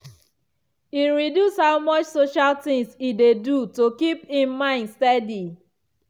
e reduce how much social things e dey do to keep him mind steady.